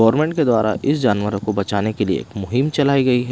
Government के द्वारा इस जानवरों को बचाने के लिए एक मुहिम चलाई गई है।